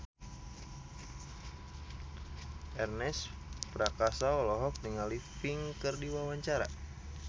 Ernest Prakasa olohok ningali Pink keur diwawancara